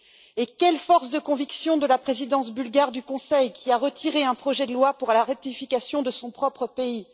Et quelle force de conviction de la présidence bulgare du Conseil, qui a retiré un projet de loi pour la ratification de son propre pays.